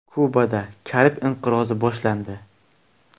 Kubada Karib inqirozi boshlandi.